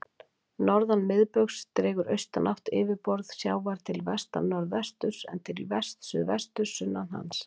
Norðan miðbaugs dregur austanátt yfirborð sjávar til vestnorðvesturs, en til vestsuðvesturs sunnan hans.